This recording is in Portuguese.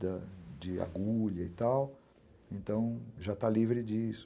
de agulha e tal, então já está livre disso.